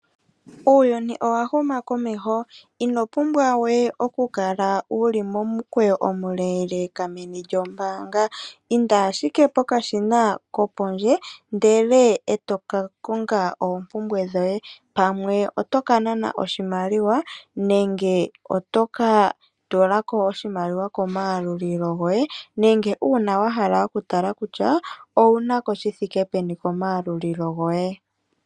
Uuyuni owa huma komeho inopumbwa we okukala wuli momukweyo omule meni lyombaanga . Inda ashike pokashina kopondje ndele etoka konga oompumbwe dhawo, pamwe oto ka nana oshimaliwa nenge toka tula ko oshimaliwa komayalulilo goye nenge uuna wahala okutala kutya owuna ko shithike peni komayalulilo goye.